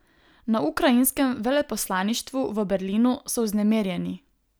Na ukrajinskem veleposlaništvu v Berlinu so vznemirjeni.